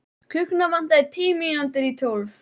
Var hún kannski göldrótt eftir allt saman?